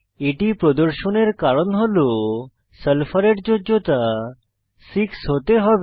এটি প্রদর্শনের কারণ হল সালফারের যোজ্যতা 6 হতে হবে